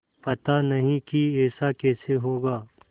पता नहीं कि ऐसा कैसे होगा